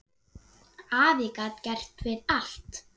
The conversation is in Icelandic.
Afi gat gert við allt.